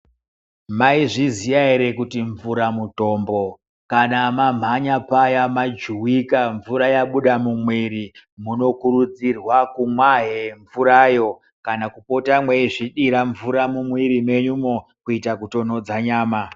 Maizviziya ere kuti mvura mutombo kana mwamhanya paya majuwika mvura yabuda mumiri munokurudzirwa kumwa he mvurayo kana kupota mweizvidira mvura mumwiri mwenyumwo kuitira kutonhodza nyama.